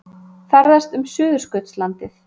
Ferðast um Suðurskautslandið